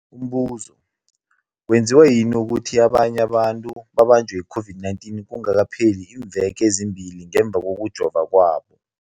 Umbuzo, kwenziwa yini ukuthi abanye abantu babanjwe yi-COVID-19 kungakapheli iimveke ezimbili ngemva kokujova kwabo?